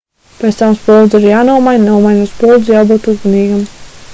pēc tam spuldze ir jānomaina nomainot spuldzi jābūt uzmanīgam